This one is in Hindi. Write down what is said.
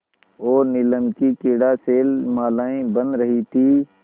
और नीलम की क्रीड़ा शैलमालाएँ बन रही थीं